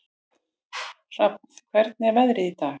Hrafn, hvernig er veðrið í dag?